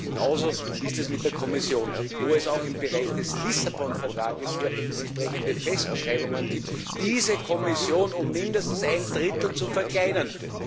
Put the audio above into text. Genauso ist es mit der Kommission, wo es auch im Bereich des Vertrags von Lissabon hier entsprechende Festschreibungen gibt, diese Kommission um mindestens ein Drittel zu verkleinern.